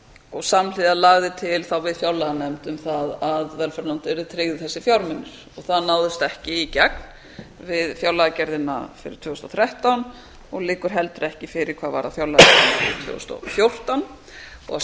og samhliða lagði til þá við fjárlaganefnd að velferðarnefnd yrðu tryggðir þessir fjármunir og það náðist ekki í gegn við fjárlagagerðina fyrir tvö þúsund og þrettán og liggur heldur ekki fyrir hvað varðar fjárlagagerðina fyrir tvö þúsund og fjórtán og að